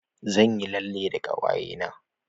Zan yi lalle da ƙawaye na.